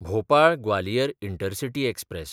Bhopal-Gwalior intercity express